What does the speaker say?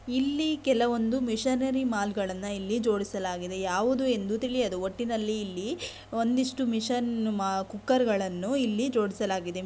ಇಲ್ಲಿ ಕೆಲವಂದು ಮಿಶನ್ ಮಾಲ್ಗಳನ್ನ ಇಲ್ಲಿ ಜೋಡಿಸಲಾಗಿದೆ ಯಾವುದು ಎಂದು ತಿಳಿಯದು ಒಟ್ಟಿನಲ್ಲಿ ಇಲ್ಲಿ ಒಂದು ಇಷ್ಟು ಮಿಶನ್ ಕುಕ್ಕರ್ಗಳನ್ನೂ ಇಲ್ಲಿ ಜೋನಿಸಲಾಗಿದೆ.